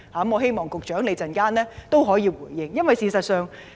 我希望局長稍後可以就此作出回應。